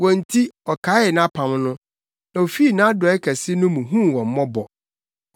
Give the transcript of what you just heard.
Wɔn nti ɔkaee nʼapam no, na ofii nʼadɔe kɛse no mu huu wɔn mmɔbɔ.